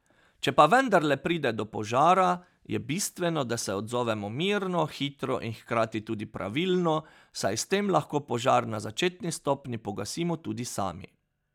Če pa vendarle pride do požara, je bistveno, da se odzovemo mirno, hitro in hkrati tudi pravilno, saj s tem lahko požar na začetni stopnji pogasimo tudi sami.